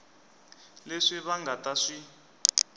leswi va nga ta swi